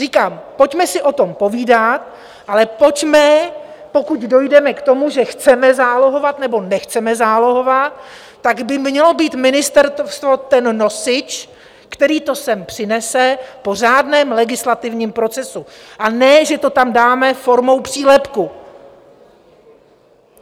Říkám, pojďme si o tom povídat, ale pojďme - pokud dojdeme k tomu, že chceme zálohovat, nebo nechceme zálohovat, tak by mělo být ministerstvo ten nosič, který to sem přinese po řádném legislativním procesu, a ne že to tam dáme formou přílepku.